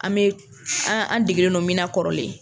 An bɛ, an an degenen don min na kɔrɔlen.